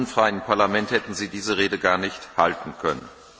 In einem unfreien Parlament hätten Sie diese Rede gar nicht halten können!